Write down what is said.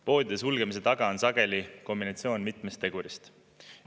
Poodide sulgemise taga on sageli kombinatsioon mitmest tegurist.